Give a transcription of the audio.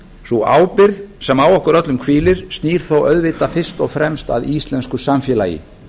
sú ábyrgð sem á okkur öllum hvílir snýr þó auðvitað fyrst og fremst að íslensku samfélagi